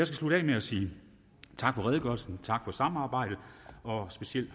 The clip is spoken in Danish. slutte af med at sige tak for redegørelsen tak for samarbejdet og specielt